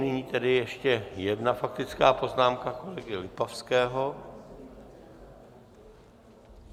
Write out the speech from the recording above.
Nyní tedy ještě jedna faktická poznámka kolegy Lipavského.